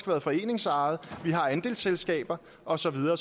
været foreningsejet vi har andelsselskaber og så videre